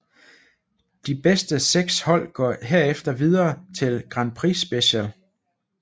De bedste seks hold går herefter videre til Grand Prix Special